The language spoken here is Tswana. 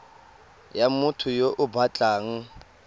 ya motho yo o batlang